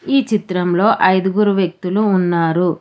ఈ చిత్రంలో ఐదుగురు వ్యక్తులు ఉన్నారు.